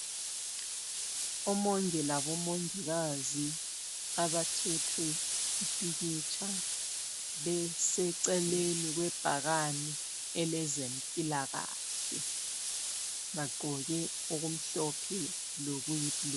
Omongi labomongikazi abathethwe impikitsha beseceleni kwebhakani elezempilakahle. Bagqoke okumhlophe lokuyi blue.